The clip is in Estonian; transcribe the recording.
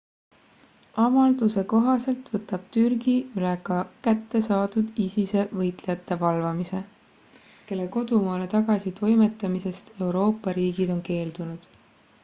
avalduse kohaselt võtab türgi üle ka kätte saadud isise võitlejate valvamise kelle kodumaale tagasi toimetamisest euroopa riigid on keeldunud